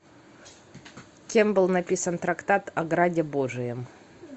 кем был написан трактат о граде божием